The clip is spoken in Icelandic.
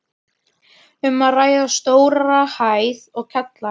Um er að ræða stóra hæð og kjallara.